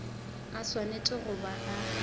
a swanetše go ba a